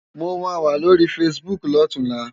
Mó má wá lóri fásibúk lòtúnlá